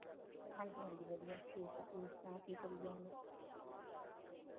ਵ ਹਾਂਜੀ ਹਾਂਜੀ ਵਧੀਆ ਠੀਕ ਆ ਤੁਸੀ ਸੁਣਾਓ ਕੀ ਕਰੀ ਜਾਂਦੇ